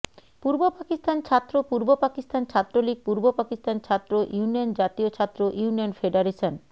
পূর্ব পাকিস্তান ছাত্র পূর্ব পাকিস্তান ছাত্রলীগ পূর্ব পাকিস্তান ছাত্র ইউনিয়ন জাতীয় ছাত্র ইউনিয়ন ফেডারেশন